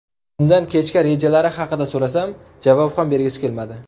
Undan kechga rejalari haqida so‘rasam, javob ham bergisi kelmadi.